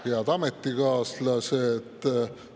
Head ametikaaslased!